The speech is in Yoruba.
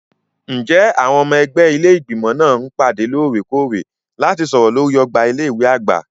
Ǹjẹ́ àwọn ọmọ ẹgbẹ́ ilé Ìgbìmọ̀ máa ń pàdé lóòrèkóòrè láti sọ̀rọ̀ lórí ọgbà ilé ìwé àgbà?